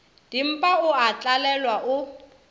dimpa o a tlalelwa o